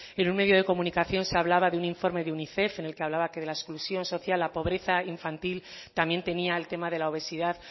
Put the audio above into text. en un medio de comunicación se hablaba de un informe de unicef en el que hablaba que de la exclusión social la pobreza infantil también tenía el tema de la obesidad